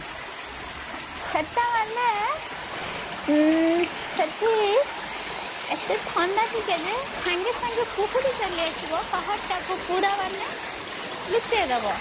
ସେଟା ମାନେ ଉଁ ସେଠି ଏତେ ଥଣ୍ଡା ଟିକେ ଯେ ସାଙ୍ଗେ ସାଙ୍ଗେ କୁହୁଡି ଚାଲିଆସିବ ପାହାଡ ଟା କୁ ପୁରା ମାନେ ଲୁଚେଇଦେବ